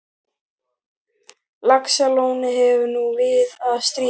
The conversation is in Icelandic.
Laxalóni hefur nú við að stríða.